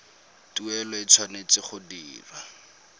tuelo e tshwanetse go dirwa